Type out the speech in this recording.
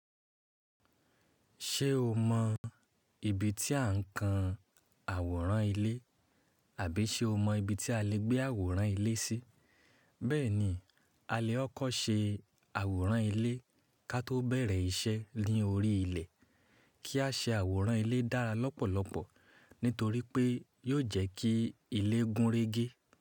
Ṣé o mọ ibi tí a ń kan àwòrán ilé, àbí ṣé o mọ ibi tí a lè gbé àwòrán ilé sí? Bẹ́ẹ̀ ni, a lè ọ́ kọ́ ṣe àwòrán ilé ká tó bẹ̀rẹ̀ iṣẹ́ ni órí ilẹ̀. Kí a ṣe àwòrán ilé dára lọ́pọ̀lọpọ̀ nítorí pé yóò jẹ́ kí ilé gúnrégé.